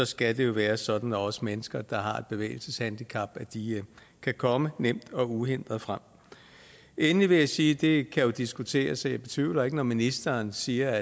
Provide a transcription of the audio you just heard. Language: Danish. skal det jo være sådan at også mennesker der har et bevægelseshandicap kan komme nemt og uhindret frem endelig vil jeg sige det jo diskuteres og jeg betvivler ikke når ministeren siger